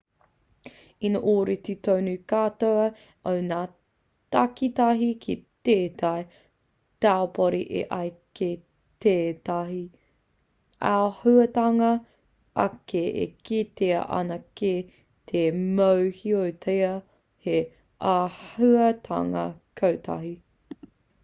ina ōrite tonu te katoa o ngā takitahi ki tētahi taupori e ai ki tētahi āhuatanga ake e kitea ana kei te mōhiotia hei āhuatanga kotahi